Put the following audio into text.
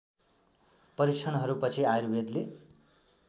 परीक्षणहरू पछि आयुर्वेदले